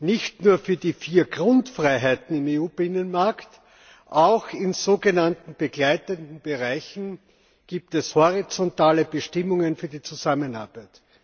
Nicht nur für die vier Grundfreiheiten im EU Binnenmarkt, auch in sogenannten begleitenden Bereichen gibt es horizontale Bestimmungen für die Zusammenarbeit.